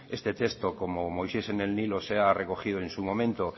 este texto como moisés en el nilo se ha recogido en su momento